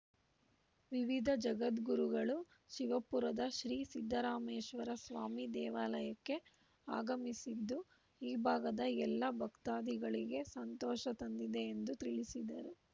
ವಿವಿಧ ಜಗದ್ಗುರುಗಳು ಶಿವಪುರದ ಶ್ರೀ ಸಿದ್ದರಾಮೇಶ್ವರ ಸ್ವಾಮಿ ದೇವಾಲಯಕ್ಕೆ ಆಗಮಿಸಿದ್ದು ಈ ಭಾಗದ ಎಲ್ಲ ಭಕ್ತಾದಿಗಳಿಗೆ ಸಂತೋಷ ತಂದಿದೆ ಎಂದು ತಿಳಿಸಿದರು